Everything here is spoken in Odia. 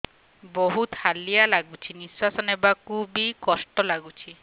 ବହୁତ୍ ହାଲିଆ ଲାଗୁଚି ନିଃଶ୍ବାସ ନେବାକୁ ଵି କଷ୍ଟ ଲାଗୁଚି